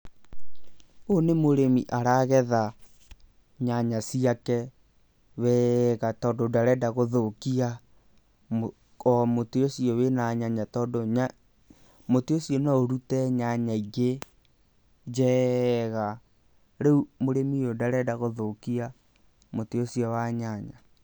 Ũyũ nĩ mũrĩmi aragetha nyanya ciake wega, tondũ ndarenda gũthũkia o mũtĩ ũcio wĩna nyanya, tondũ mũtĩ ũcio no ũrute nyanya ingĩ njega. Rĩu mũrĩmi ũyu ndarenda gũthũkia mũtĩ ũcio wa nyanya.